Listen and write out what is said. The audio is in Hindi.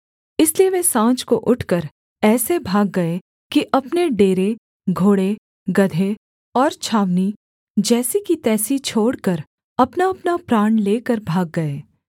इसलिए वे साँझ को उठकर ऐसे भाग गए कि अपने डेरे घोड़े गदहे और छावनी जैसी की तैसी छोड़कर अपनाअपना प्राण लेकर भाग गए